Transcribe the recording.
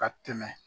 Ka tɛmɛ